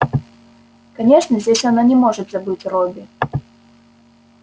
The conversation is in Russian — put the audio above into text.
конечно здесь она не может забыть робби